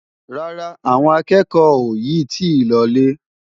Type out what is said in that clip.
Rárá, àwọn akẹ́kọ̀ọ́ ò yì tí ì lọ lé.